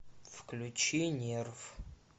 включи нерв